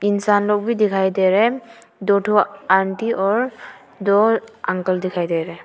इंसान लोग भी दिखाई दे रहे हैं दो ठो आंटी और दो अंकल दिखाई दे रहे हैं।